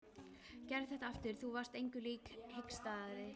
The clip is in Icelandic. Gerðu þetta aftur, þú varst engu lík hikstaði hann.